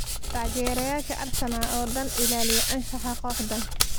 Taageerayaasha Arsenal oo dhan, ilaaliya anshaxa kooxdaan.